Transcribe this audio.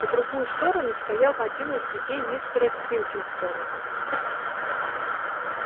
по другую сторону стоял один из людей мистера пилкингтона